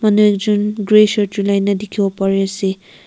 nuijun grey shirt julaina dikibo pari ase.